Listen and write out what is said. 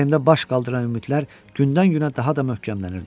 Ürəyimdə baş qaldıran ümidlər gündən-günə daha da möhkəmlənirdi.